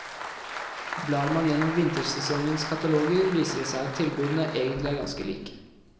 Blar man gjennom vintersesongens kataloger viser det seg at tilbudene egentlig er ganske like.